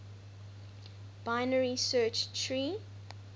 binary search tree